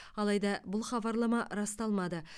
алайда бұл хабарлама расталмады